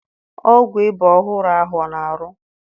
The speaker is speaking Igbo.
Ọgwụ iba ọhụrụ ahụ ọ na arụ?